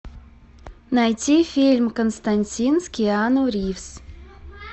найти фильм константин с киану ривз